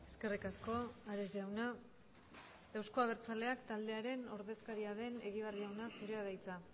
eskerrik asko ares jauna euzko abertzaleak taldearen ordezkaria den egibar jauna zurea da hitza